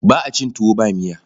Ba a cin tuwo ba miya.